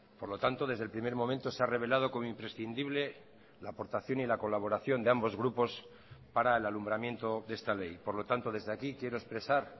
por lo tanto desde el primer momento se ha revelado como imprescindible la aportación y la colaboración de ambos grupos para el alumbramiento de esta ley por lo tanto desde aquí quiero expresar